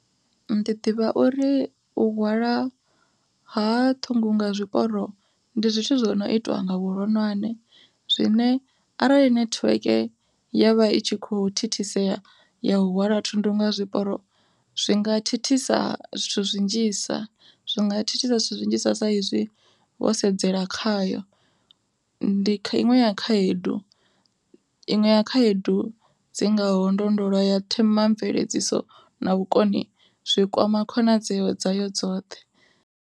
Ndi ḓivha uri u hwalwa ha thundu nga zwiporo ndi zwithu zwo no itwa nga vhuronwane, zwine arali nethiweke ya vha i tshi kho thithisea ya u hwala thundu nga zwiporo, zwinga thithisa zwithu zwi nnzhisa zwinga thithisa zwithu zwinzhi sa sa izwi wo sedzela khayo. Ndi iṅwe ya khaedu iṅwe ya khaedu dzi ngaho ndo ndo lwa ya themamveledziso na vhukoni zwi kwama khonadzeo dza yo dzoṱhe.